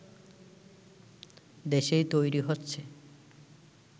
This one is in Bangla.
দেশেই তৈরি হচ্ছে